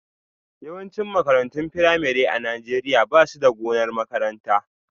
Yawancin makarantun firamare a Najeriya ba su da gonar makaranta